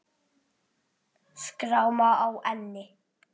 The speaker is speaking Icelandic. Skráma á enni.